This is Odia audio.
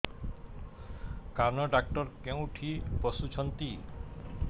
କାନ ଡକ୍ଟର କୋଉଠି ବସୁଛନ୍ତି